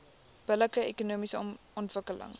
billike ekonomiese ontwikkeling